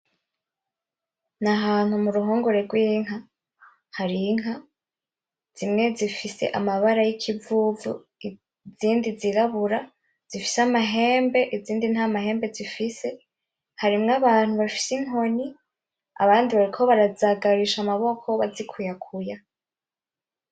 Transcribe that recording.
Nahantu muruhongore gw'inka hari inka zimwe zifise amabara yikivuvu izindi zirabura zifise amahembe izindi ntamahembe zifise harimwo abantu bafise inkoni abandi bariko bazagarisha amaboko bazikuyakuya.